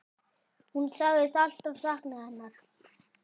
Hún sagðist alltaf sakna hennar.